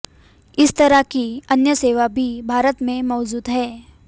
इस तरह की अन्य सेवा भी भारत में मौजूद है